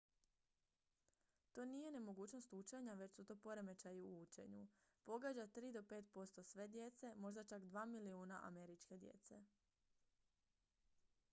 "to nije nemogućnost učenja već su to poremećaji u učenju. "pogađa 3 do 5 posto sve djece možda čak 2 milijuna američke djece"".